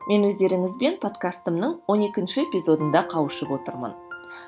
мен өздеріңізбен подкастымның он екінші эпизодында қауышып отырмын